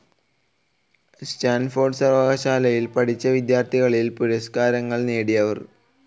Stanford സർവകലാശാലയിൽ പഠിച്ച വിദ്യാർത്ഥികളിൽ പുരസ്ക്കാരങ്ങൾ നേടിയവർ